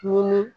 Munna